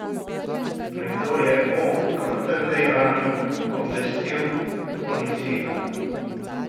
Nekdo je o krutem dejanju obvestil policijo.